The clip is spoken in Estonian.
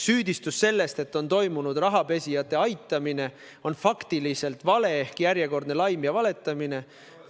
Süüdistus selle kohta, et on toimunud rahapesijate aitamine, on faktiliselt vale ehk järjekordne laim ja valetamine.